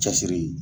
Cɛsiri